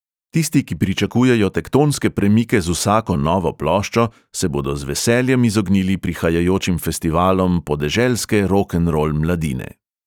Tisti, ki pričakujejo tektonske premike z vsako novo ploščo, se bodo z veseljem izognili prihajajočim festivalom podeželske rokenrol mladine.